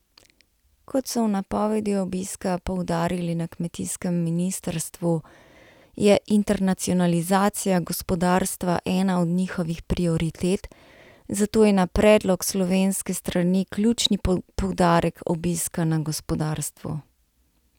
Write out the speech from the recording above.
Kot so v napovedi obiska poudarili na kmetijskem ministrstvu, je internacionalizacija gospodarstva ena od njihovih prioritet, zato je na predlog slovenske strani ključni poudarek obiska na gospodarstvu.